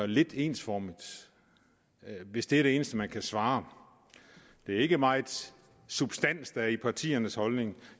lidt ensformigt hvis det er det eneste man kan svare det er ikke meget substans der er i partiernes holdning